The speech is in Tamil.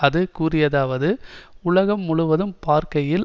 அது கூறியதாவது உலகம் முழுவதும் பார்க்கையில்